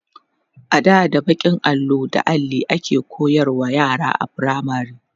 ada da bakin allo da Alli ake koyarwa yara a firamare